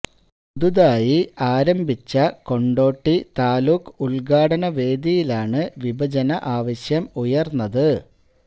പുതുതായി രൂപീകരിച്ച കൊണ്ടോട്ടി താലൂക്ക് ഉദ്ഘാടന വേദിയിലാണ് വിഭജന ആവശ്യം ഉയര്ന്നത്